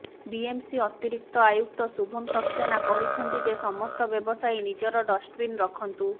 BMC ଅତିରିକ୍ତ ଆୟୁକ୍ତ ଶୁଭମ୍ ସାକ୍ସେନା କହିଛନ୍ତି ଯେ ସମସ୍ତ ବ୍ୟବସାୟୀ ନିଜର ଡଷ୍ଟବିନ୍ ରଖନ୍ତୁ